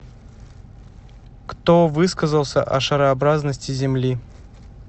кто высказался о шарообразности земли